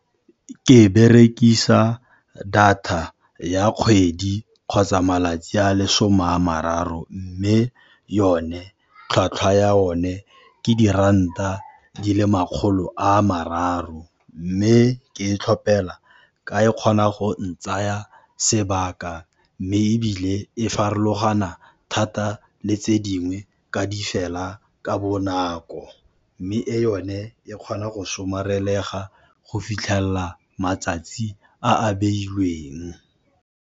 Ke berekisa data ya kgwedi kgotsa malatsi a le 'some a mararo, mme yone tlhwatlhwa ya o ne ke diranta di le makgolo a mararo. Mme ke e tlhopelwa ka e kgona go ntsaya sebaka, mme ebile e farologana thata le tse dingwe ka di fela ka bonako, mme e yone e kgona go somarelega go fitlhelela matsatsi a a beilweng.